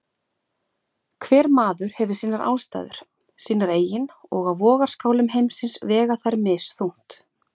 Hver maður hefur sínar ástæður, sínar eigin og á vogarskálum heimsins vega þær misþungt.